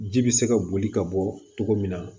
Ji bɛ se ka boli ka bɔ cogo min na